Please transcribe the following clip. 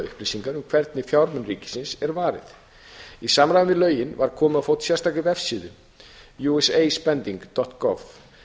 upplýsingar um hvernig fjármunum ríkisins er varið í samræmi við lögin var komið á fót sérstakri vefsíðu usaspendinggov